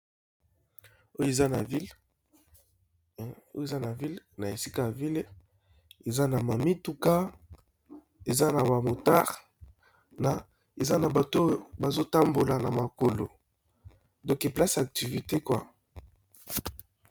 Oyo eza na ville na esika ya ville eza na ma mituka eza na ba motare na eza na bato oyo bazo tambola na makolo, donc place ya activité kwa.